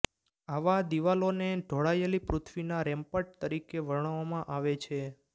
આવા દિવાલોને ઢોળાયેલી પૃથ્વીના રેમ્પર્ટ તરીકે વર્ણવવામાં આવે છે